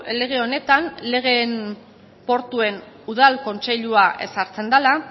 lege honetan legeen portuen udal kontseilua ezartzen dela